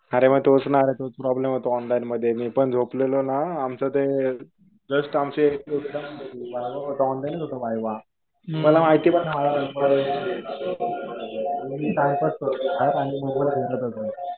अरे मग तोच ना. तोच प्रॉब्लेम होतो ऑनलाईन मध्ये. मी पण झोपलेलो ना. आमचं ते जस्ट आमचे व्हायवा होता. ऑनलाइनच होता व्हायवा. मला माहिती पण नाही माझा नंबर मी टाईमपास करत होतो आणि मोबाईल बघत होतो.